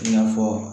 I n'a fɔ